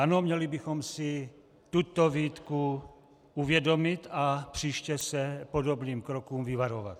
Ano, měli bychom si tuto výtku uvědomit a příště se podobných kroků vyvarovat.